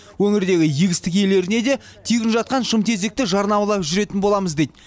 өңірдегі егістік иелеріне де тегін жатқан шымтезекті жарнамалап жүретін боламыз дейді